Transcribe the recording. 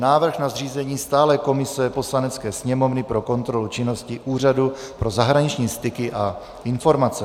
Návrh na zřízení stálé komise Poslanecké sněmovny pro kontrolu činnosti Úřadu pro zahraniční styky a informace